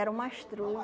Era o mastruz